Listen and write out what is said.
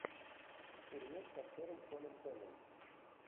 фильмец с актером шоном пеном